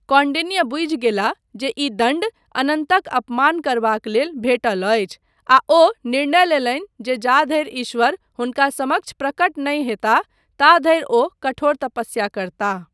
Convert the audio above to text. कौंडिन्य बूझि गेलाह जे ई दण्ड अनन्तक अपमान करबाक लेल भेटल अछि आ ओ निर्णय लेलनि जे जा धरि ईश्वर हुनका समक्ष प्रकट नहि हेताह, ता धरि वो कठोर तपस्या करताह।